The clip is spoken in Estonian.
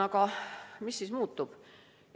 Aga mis siis muutub?